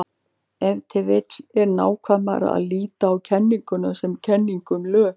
Ef til vill er nákvæmara að líta á kenninguna sem kenningu um lög.